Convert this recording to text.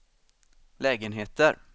lägenheter